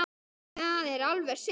Það er alveg synd